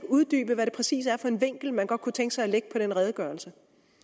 uddybe hvad det præcis er for en vinkel man godt kunne tænke sig at lægge på den redegørelse